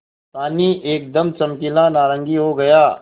पानी एकदम चमकीला नारंगी हो गया